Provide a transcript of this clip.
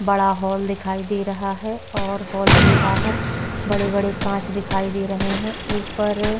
बड़ा हॉल दिखाई दे रहा है और हॉल के बाहर बड़े-बड़े कांच दिखाई दे रहे हैं। ऊपर--